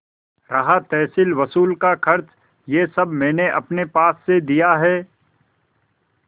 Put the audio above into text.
रहा तहसीलवसूल का खर्च यह सब मैंने अपने पास से दिया है